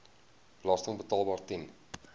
belasting betaalbaar ten